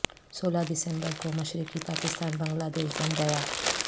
سولہ دسمبر کو مشرقی پاکستان بنگلہ دیش بن گیا